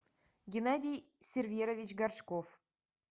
геннадий серверович горшков